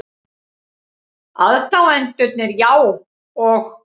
Aðdáendurnir, já, og?